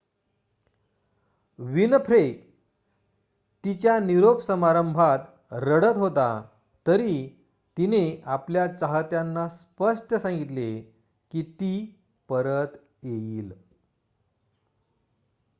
Winfrey तिच्या निरोप समारंभात रडत होती तरी तिने आपल्या चाहत्यांना स्पष्ट सांगितले की ती परत येईल